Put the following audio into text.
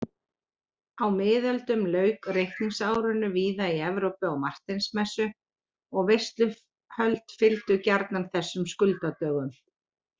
Á miðöldum lauk reikningsárinu víða í Evrópu á Marteinsmessu og veisluhöld fylgdu gjarnan þessum skuldadögum.